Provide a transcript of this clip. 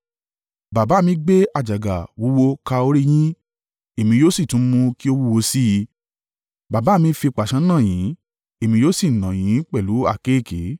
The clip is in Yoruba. Baba mi gbé àjàgà wúwo ka orí yín; èmi yóò sì tún mú kí ó wúwo sì í. Baba mi fi pàṣán nà yín; èmi yóò sì nà yín pẹ̀lú àkéekèe.’ ”